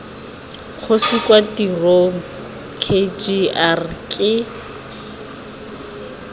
kgosi kwa tirong kgr ke